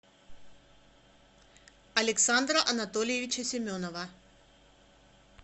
александра анатольевича семенова